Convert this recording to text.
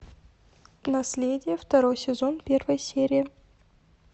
наследие второй сезон первая серия